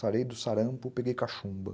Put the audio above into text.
Sarei do sarampo, peguei cachumba.